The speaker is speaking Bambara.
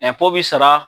bi sara